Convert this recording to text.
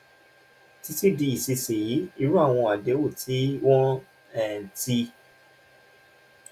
títí di ìsinsìnyí irú àwọn àdéhùn tí wọ́n um ti